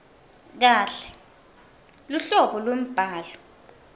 kahle luhlobo lwembhalo